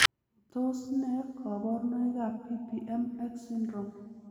Tos nee koborunoikab PPM X syndrome?